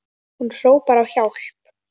Hún hrópar á hjálp.